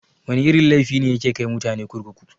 Wana irin laifi ne yake kai mutane kurkuku?